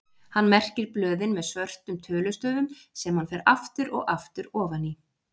Hann merkir blöðin með svörtum tölustöfum sem hann fer aftur og aftur ofan í.